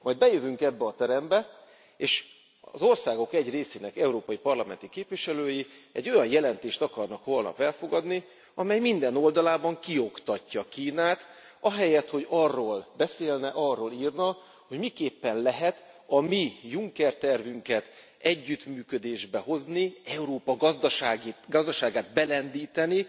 Majd bejövünk ebbe a terembe, és az országok egy részének európai parlamenti képviselői olyan jelentést akarnak holnap elfogadni, amely minden oldalában kioktatja Kínát, ahelyett, hogy arról beszélne, arról írna, hogy miképpen lehet a mi Juncker tervünket együttműködésbe hozni, Európa gazdaságát belendíteni